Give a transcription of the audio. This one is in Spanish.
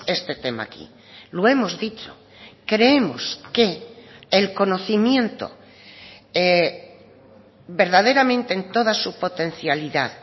este tema aquí lo hemos dicho creemos que el conocimiento verdaderamente en toda su potencialidad